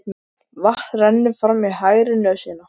Vatn rennur fram í hægri nösina.